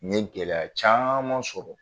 N ye gɛlɛya caman sɔrɔ